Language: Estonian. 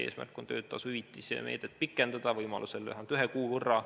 Eesmärk on töötasu hüvitise meedet pikendada võimaluse korral vähemalt ühe kuu võrra.